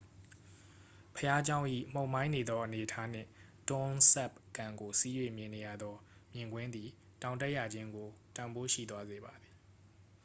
ဘုရားကျောင်း၏ မှုန်မှိုင်းနေသောအနေအထားနှင့် tonle sap ကန်ကို စီး၍မြင်နေရသောမြင်ကွင်းသည် တောင်တက်ရခြင်းကို တန်ဖိုးရှိသွားစေပါသည်